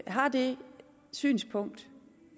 har det synspunkt